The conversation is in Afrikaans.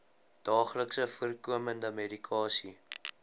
daagliks voorkomende medikasie